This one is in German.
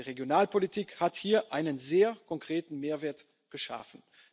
zu denken geben. Die Regionalpolitik hat hier einen sehr konkreten